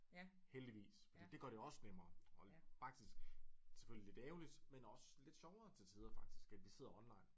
Heldigvis fordi det gør det også nemmere og holde faktisk selvfølgelig lidt ærgerligt men også lidt sjovere til tider faktisk at vi sidder online